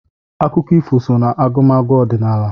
Akụkọ ifo so n'agụmagụ ọdịnala.